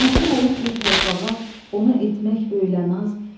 Hakim olub bir torpağa, ona etmək böylə naz,